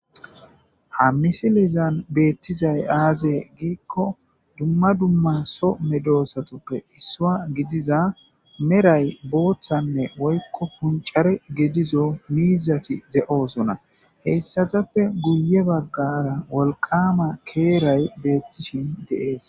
ha misilizan beettizay aaze giikko dumma dumma so medoosatoppe issua gidiza meray booththanne woykko puncare gedizo miizati ze7osona heyssazappe guye baggara wolqama keeray beettishin deees